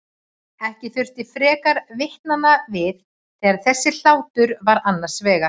Ekki þurfti frekar vitnanna við þegar þessi hlátur var annars vegar.